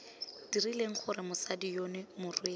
dirileng gore mosadi yono morwesi